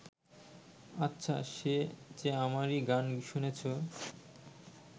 আচ্ছা, সে যে আমারই গান শুনেছ